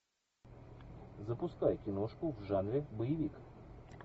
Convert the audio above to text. запускай киношку в жанре боевик